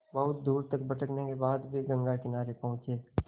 बहुत दूर तक भटकने के बाद वे गंगा किनारे पहुँचे